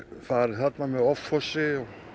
farið þarna með offorsi